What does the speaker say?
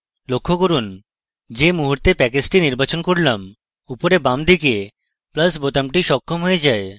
লক্ষ্য করুন যে মুহূর্তে আমি প্যাকেজটি নির্বাচন করলাম উপরে বাম দিকে plus বোতামটি সক্ষম হয়ে যায়